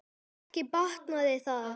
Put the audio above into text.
Ekki batnaði það!